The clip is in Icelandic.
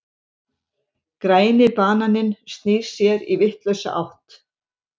Græni bananinn snýr sér í vitlausa átt.